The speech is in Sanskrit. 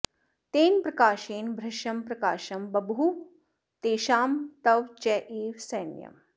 तेन प्रकाशेन भृशं प्रकाशं बभूव तेषां तव चैव सैन्यम्